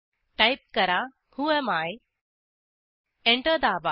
type करा whoami enter दाबा